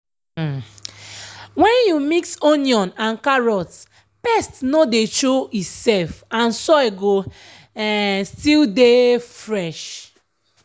when you mix onion and carrot pest nor dey show e self and soil go um still dey fresh.